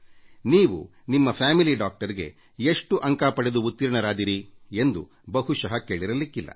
ನೀವು ನಿಮ್ಮ ಕುಟುಂಬದ ವೈದ್ಯರಿಗೆ ಎಷ್ಟು ಅಂಕ ಪಡೆದು ಉತ್ತೀರ್ಣರಾದಿರಿ ಎಂದು ಬಹುಶಃ ಕೇಳಿರಲಿಕ್ಕಿಲ್ಲ